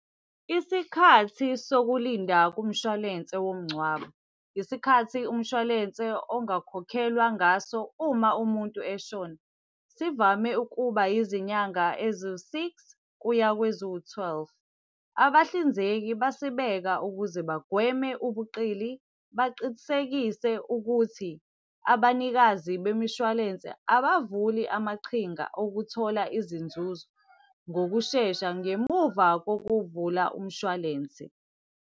Isikhathi sokulinda kumshwalense womngcwabo. Isikhathi umshwalense ongakhokhelwa ngaso uma umuntu eshona. Sivame ukuba izinyanga eziwu-six kuya kweziwu-twelve. Abahlinzeki basibeka ukuze bagweme ubuqili. Baqinisekise ukuthi abanikazi bemishuwalense, abavuli amaqhinga okuthola izinzuzo ngokushesha ngemuva kokuvula umshwalensi.